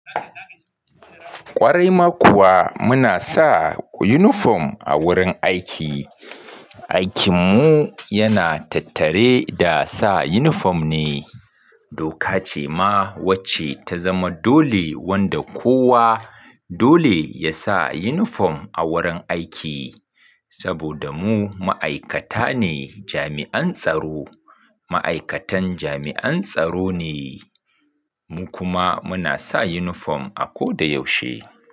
Ƙwarai ma kuwa muna sa uniform a wurin aiki. Aikin mu yana tattare da sa uniform ne. Doka ce ma wacce ta zama dole wanda kowa. Dole ya sa yunifom a wurin aiki. Saboda mu ma'aikata ne jami'an tsaro, ma'aikatan jami'an tsaro ne, mu kuma muna sa uniform a ko da yaushe.